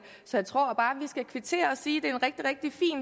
så jeg tror bare at skal kvittere og sige at det